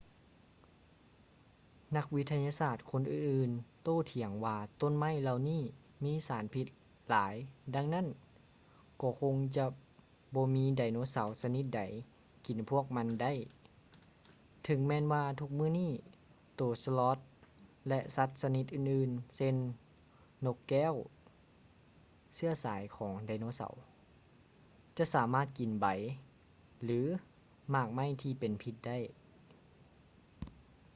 ນັກວິທະຍາສາດຄົນອື່ນໆໂຕ້ຖຽງວ່າຕົ້ນໄມ້ເຫຼົ່ານີ້ມີສານພິດຫຼາຍດັ່ງນັ້ນກໍຄົງຈະບໍ່ມີໄດໂນເສົາຊະນິດໃດກິນພວກມັນໄດ້ ເຖິງແມ່ນວ່າທຸກມື້ນີ້ໂຕສະລັອດ sloth ແລະ ສັດຊະນິດອື່ນໆເຊັ່ນ: ນົກແກ້ວ ເຊື້ອສາຍຂອງໄດໂນເສົາ ຈະສາມາດກິນໃບ ຫຼື ໝາກໄມ້ທີ່ເປັນພິດໄດ້